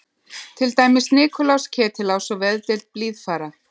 Til dæmis Nikulás, Ketilás og Veðdeild Blíðfara.